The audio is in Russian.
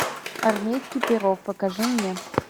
армейский пирог покажи мне